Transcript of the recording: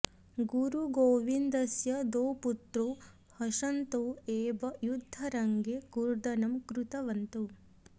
गुरुगोविन्दस्य द्वौ पुत्रौ हसन्तौ एव युद्धरङ्गे कूर्दनं कृतवन्तौ